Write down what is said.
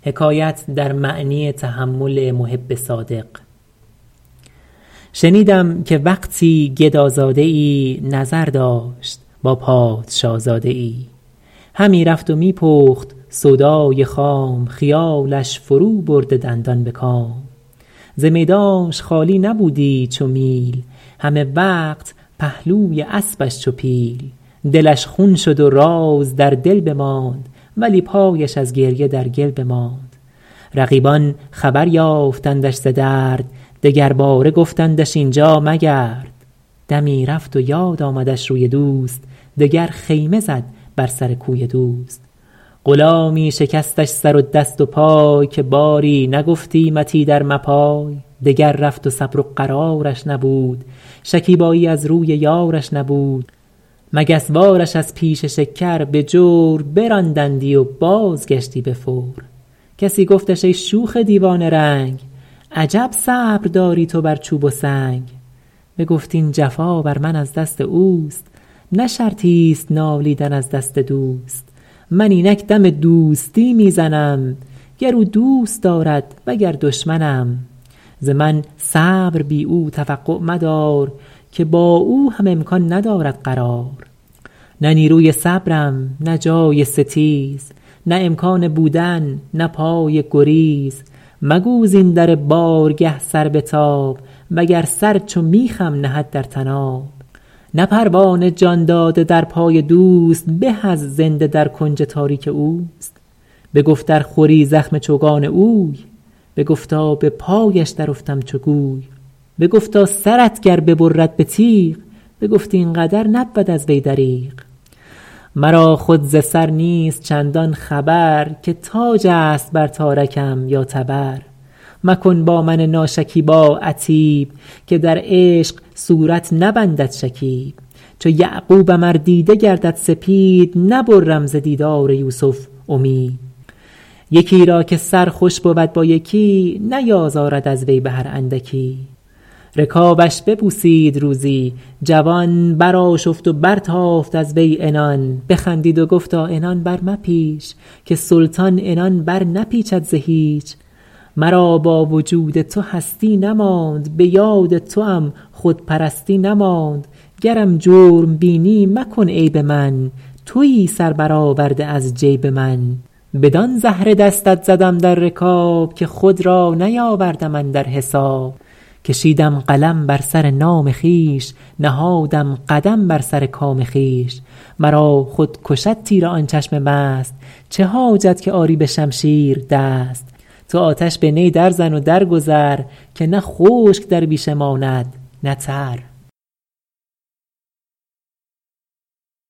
شنیدم که وقتی گدازاده ای نظر داشت با پادشازاده ای همی رفت و می پخت سودای خام خیالش فرو برده دندان به کام ز میدانش خالی نبودی چو میل همه وقت پهلوی اسبش چو پیل دلش خون شد و راز در دل بماند ولی پایش از گریه در گل بماند رقیبان خبر یافتندش ز درد دگرباره گفتندش اینجا مگرد دمی رفت و یاد آمدش روی دوست دگر خیمه زد بر سر کوی دوست غلامی شکستش سر و دست و پای که باری نگفتیمت ایدر مپای دگر رفت و صبر و قرارش نبود شکیبایی از روی یارش نبود مگس وار ش از پیش شکر به جور براندندی و بازگشتی به فور کسی گفتش ای شوخ دیوانه رنگ عجب صبر داری تو بر چوب و سنگ بگفت این جفا بر من از دست اوست نه شرطی ست نالیدن از دست دوست من اینک دم دوستی می زنم گر او دوست دارد وگر دشمنم ز من صبر بی او توقع مدار که با او هم امکان ندارد قرار نه نیروی صبرم نه جای ستیز نه امکان بودن نه پای گریز مگو زین در بارگه سر بتاب وگر سر چو میخم نهد در طناب نه پروانه جان داده در پای دوست به از زنده در کنج تاریک اوست بگفت ار خوری زخم چوگان اوی بگفتا به پایش در افتم چو گوی بگفتا سرت گر ببرد به تیغ بگفت این قدر نبود از وی دریغ مرا خود ز سر نیست چندان خبر که تاج است بر تارکم یا تبر مکن با من ناشکیبا عتیب که در عشق صورت نبندد شکیب چو یعقوبم ار دیده گردد سپید نبرم ز دیدار یوسف امید یکی را که سر خوش بود با یکی نیازارد از وی به هر اندکی رکابش ببوسید روزی جوان برآشفت و برتافت از وی عنان بخندید و گفتا عنان برمپیچ که سلطان عنان برنپیچد ز هیچ مرا با وجود تو هستی نماند به یاد توام خودپرستی نماند گرم جرم بینی مکن عیب من تویی سر بر آورده از جیب من بدان زهره دستت زدم در رکاب که خود را نیاوردم اندر حساب کشیدم قلم در سر نام خویش نهادم قدم بر سر کام خویش مرا خود کشد تیر آن چشم مست چه حاجت که آری به شمشیر دست تو آتش به نی در زن و در گذر که نه خشک در بیشه ماند نه تر